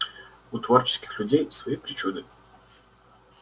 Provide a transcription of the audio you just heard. у творческих людей свои причуды